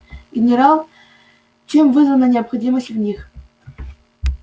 генерал чем вызвана необходимость в них